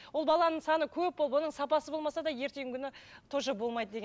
ол баланың саны көп болып оның сапасы болмаса да ертеңгі күні тоже болмайды деген